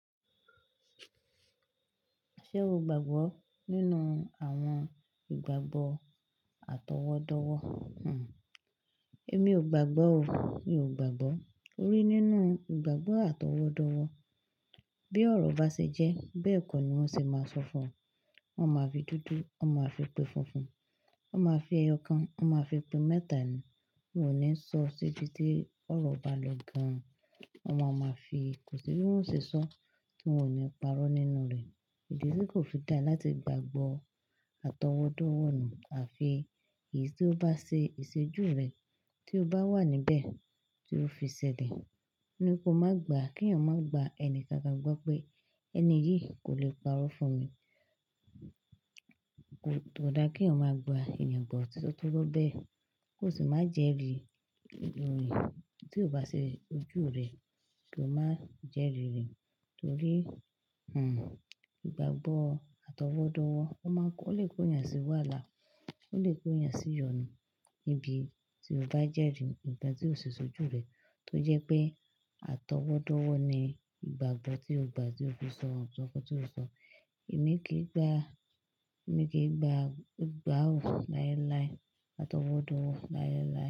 Ṣé o gbàgbọ́ nínú àwọn ìgbàgbọ́ atọwọ́dọwọ́? Hmm, èmi ò gbàgbọ́ o. Mi ò gbàgbọ́. Torí nínú ìgbàgbọ́ atọwọ́dọwọ́, bí ọ̀rọ̀ bá ṣe jẹ́, bẹ́ẹ̀ kọ́ ni wọ́n ṣe máa sọ fún ọ. Wọn máa fi dúdú, wọ́n máa fi pé funfun, wọ́n máa fi ẹyọ kan, wọ́n máa fi pé mẹ́tà ni. Wọn ò ní sọ séjú tí ọ̀rọ̀ bá lọ gan. Wọ́n máa ma fi, kò sì ní wọ́n ó ṣe sọ tí wọn ò ní parọ́ nínú rẹ̀. Èdè tí kò fi dá láti gbàgbọ́ atọwọ́dọwọ́ nù, àfi èyí tí ó bá ṣe ìṣejú rẹ̀, tí ó bá wà níbẹ̀, tí ó fi ṣẹlẹ̀, ni kó má gbà. Kí ẹ̀yàn má gba ẹnì káàkiri gbọ́ pé ẹni yìí kò lè parọ́ fún mi. Kò dára kí ẹ̀yàn máa gba ènìyàn bọ̀ titọ́ tó bọ́bẹ́. Kò sì má jẹ́rìí orin tí ò bá ṣe ojú rẹ̀ kí o má jẹ́rìí rẹ̀. Torí hmm ìgbàgbọ́ atọwọ́dọwọ́, ó lè kó ènìyàn sí wàhala, ó lè kó ènìyàn sí ìyọnu. Ibi tí o bá jẹ́rìí, ìgbà tí o ṣe sójú rẹ̀ tó jẹ́ pé atọwọ́dọwọ́ ni ìgbàgbọ́ tí o gbà tí o fi sọ àwọn nǹkan tí o sọ. Èmi kì í gbà, èmi kì í gbà gbà ò láéláé atọwọ́dọwọ́ láéláé.